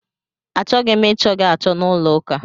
A chọghị m ị chọ gị achọ n'ụlọ ụka!